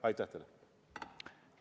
Aitäh teile!